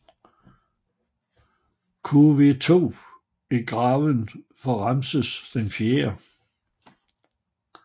KV2 er graven for Ramses IV